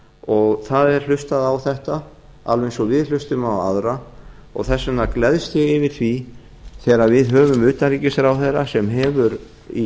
og það er hlustað á þetta alveg eins og við hlustum á aðra og þess vegna gleðst ég yfir því þegar við höfum utanríkisráðherra sem hefur í